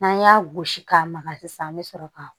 N'an y'a gosi k'a maga sisan an be sɔrɔ ka